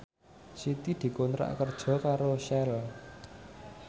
Siti dikontrak kerja karo Shell